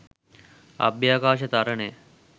අභ්‍යවකාශ තරණය.